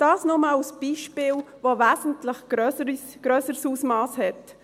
– Dies nur als Beispiel, das ein wesentlich grösseres Ausmass hat.